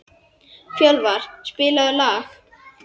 Fjölvar, spilaðu lag.